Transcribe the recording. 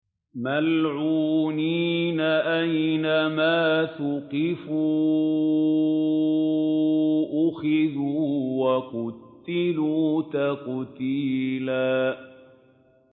مَّلْعُونِينَ ۖ أَيْنَمَا ثُقِفُوا أُخِذُوا وَقُتِّلُوا تَقْتِيلًا